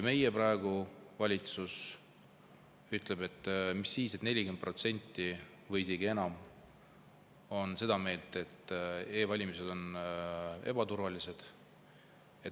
Meie praegune valitsus ütleb, et mis siis, et 40% või isegi enam on seda meelt, et e-valimised on ebaturvalised.